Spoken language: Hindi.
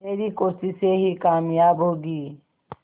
तेरी कोशिशें ही कामयाब होंगी